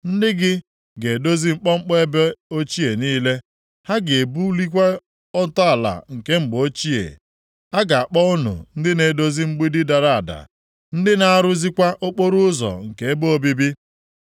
Ndị gị ga-edozi mkpọmkpọ ebe ochie niile. Ha ga-ebulikwa ntọala nke mgbe ochie. A ga-akpọ unu ndị na-edozi mgbidi dara ada, ndị na-arụzikwa okporoụzọ nke ebe obibi.